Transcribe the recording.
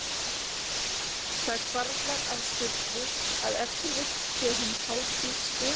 Það hvarflar að Sturlu að ef til vill sé hinn hálfþýski